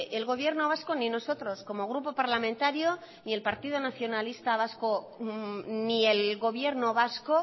el gobierno vasco ni nosotros como grupo parlamentario ni el partido nacionalista vasco ni el gobierno vasco